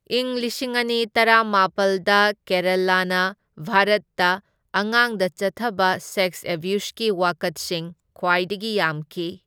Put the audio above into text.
ꯢꯪ ꯂꯤꯁꯤꯡ ꯑꯅꯤ ꯇꯔꯥꯃꯥꯄꯜꯗ, ꯀꯦꯔꯂꯥꯅꯥ ꯚꯥꯔꯠꯇ ꯑꯉꯥꯡꯗ ꯆꯠꯊꯕ ꯁꯦꯛꯁ ꯑꯦꯕ꯭ꯌꯨꯁꯀꯤ ꯋꯥꯀꯠꯁꯤꯡ ꯈ꯭ꯋꯥꯏꯗꯒꯤ ꯌꯥꯝꯈꯤ꯫